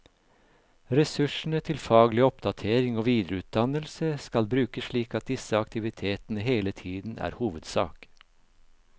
Ressursene til faglig oppdatering og videreutdannelse skal brukes slik at disse aktivitetene hele tiden er hovedsak.